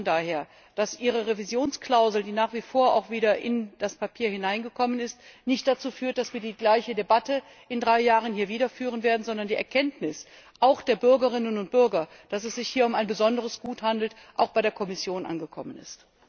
Ich hoffe von daher, dass Ihre Revisionsklausel, die wieder in das Papier hineingekommen ist, nicht dazu führt, dass wir die gleiche Debatte in drei Jahren hier wieder führen werden, sondern dass die Erkenntnis auch der Bürgerinnen und Bürger dass es sich hier um ein besonderes Gut handelt, auch bei der Kommission angekommen ist.